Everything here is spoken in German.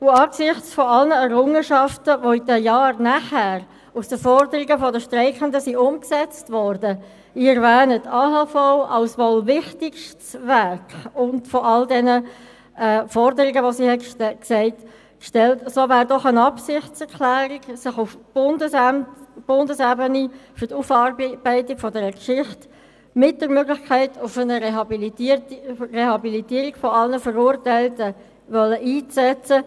Angesichts aller Errungenschaften, welche in den Jahren danach aus den Forderungen der Streikenden umgesetzt wurden – ich erwähne die AHV als wohl wichtigstes Werk –, bestünde eine Absichtserklärung darin, sich auf Bundesebene für die Aufarbeitung dieser Geschichte, mit der Möglichkeit auf eine Rehabilitierung aller Verurteilten einzusetzen.